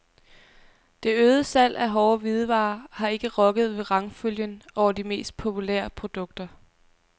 Det øgede salg af hårde hvidevarer har ikke rokket ved rangfølgen over de mest populære produkter.